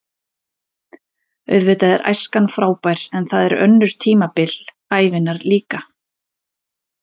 Auðvitað er æskan frábær en það eru önnur tímabil ævinnar líka.